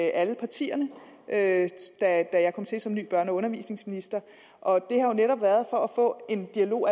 alle partierne da da jeg kom til som ny børne og undervisningsminister og det har jo netop været for at få en dialog